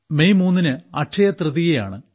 May 3 ന് അക്ഷയതൃതീയയാണ്